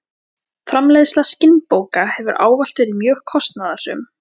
Framleiðsla skinnbóka hefur ávallt verið mjög kostnaðarsöm.